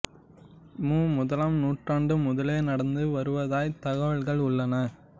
மு முதலாம் நூற்றாண்டு முதலே நடந்து வருவதாய்த் தகவல்கள் உள்ளன